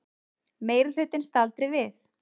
Meirihlutinn staldri við